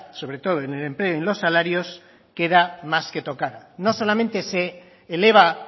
sobre todo en el empleo y en los salarios queda más que tocada no solamente se eleva